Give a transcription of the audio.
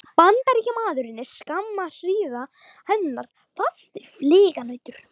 Bandaríkjamaður er skamma hríð hennar fasti fylginautur.